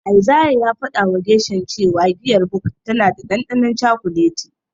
Isaiah ya fadawa Gershom cewa giyar Bok tana da dandanon cakuleti.